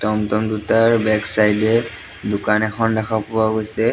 টমটম দুটাৰ বেকচাইদে দোকান এখন দেখা পোৱা গৈছে।